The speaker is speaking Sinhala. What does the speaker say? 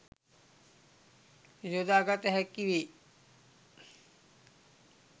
යොදාගත හැකිවේ